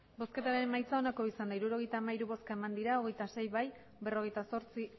emandako botoak hirurogeita hamairu bai hogeita sei ez berrogeita zortzi